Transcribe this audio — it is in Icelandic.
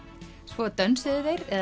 svo dönsuðu þeir eða